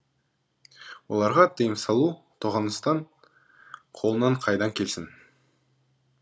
оларға тиым салу тоғанастың қолынан қайдан келсін